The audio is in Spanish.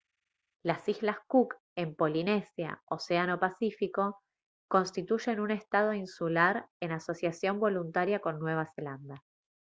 las islas cook en polinesia océano pacífico constituyen un estado insular en asociación voluntaria con nueva zelanda